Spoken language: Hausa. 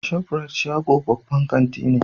Shof rite shago babban kanti ne.